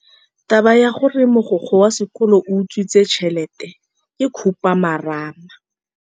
Taba ya gore mogokgo wa sekolo o utswitse tšhelete ke khupamarama.